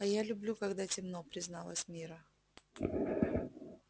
а я люблю когда темно призналась мирра